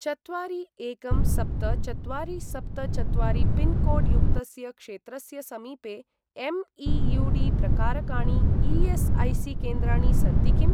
चत्वारि एकं सप्त चत्वारि सप्त चत्वारि पिन्कोड् युक्तस्य क्षेत्रस्य समीपे एम्.ई.यू.डी.प्रकारकाणि ई.एस्.ऐ.सी.केन्द्राणि सन्ति किम्?